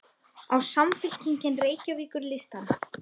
Á Samfylkingin Reykjavíkurlistann?